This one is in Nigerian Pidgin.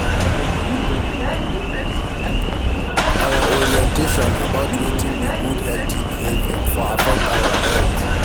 Our orientation about wetin be good healthy behavior for affect our health